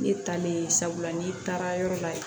Ne talen ye sabula n'i taara yɔrɔ la